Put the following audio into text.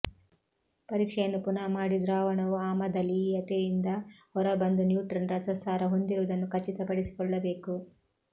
ಪರೀಕ್ಷೆಯನ್ನು ಪುನಃ ಮಾಡಿ ದ್ರಾವಣವು ಆಮದಲೀಯತೆಯಿಂದ ಹೊರ ಬಂದು ನ್ಯೂಟ್ರನ್ ರಸಸಾರ ಹೊಂದಿರುವುದನ್ನು ಖಚಿತ ಪಡಿಸಿಕೊಳ್ಳಬೇಕು